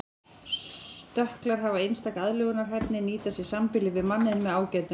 Stökklar hafa einstaka aðlögunarhæfni nýta sér sambýli við manninn með ágætum.